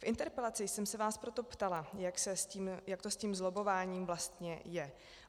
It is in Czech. V interpelaci jsem se vás proto ptala, jak to s tím lobbováním vlastně je.